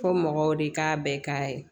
Fɔ mɔgɔw de k'a bɛɛ k'a ye